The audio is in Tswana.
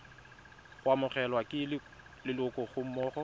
go amogelwa ke leloko gammogo